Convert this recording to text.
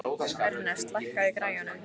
Ernest, lækkaðu í græjunum.